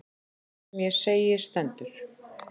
Það sem ég segi stendur.